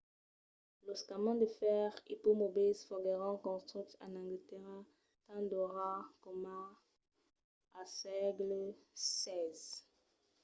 los camins de fèrre ipomobils foguèron construches en anglatèrra tant d'ora coma al sègle xvi